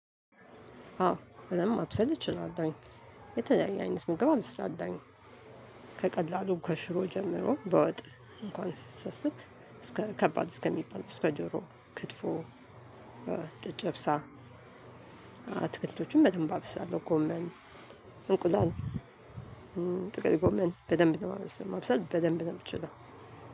አዎ በደንብ ማብሰል እችላለሁኝ። የተለያየ አይነት ምግብ አበስላለሁኝ። ከቀላሉ ከሽሮ ጀምሮ በወጥ እንኳን ስትሰስብ እስከ ከባድ እስከሚባል እስከ ዶሮ ክትፎ ጨጨብሳ። አትክልቶችን በደንብ አበስላለሁ ጎመን፣ እንቁላል። ጥቅል ጎመን በደንብ ነው የማብሰል ማብሰል በደንብ ነው የምትችለው።